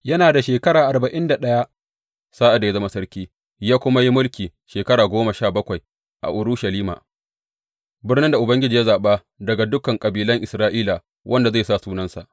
Yana da shekara arba’in da ɗaya sa’ad da ya zama sarki, ya kuma yi mulki shekara goma sha bakwai a Urushalima, birnin da Ubangiji ya zaɓa daga dukan kabilan Isra’ila wanda zai sa Sunansa.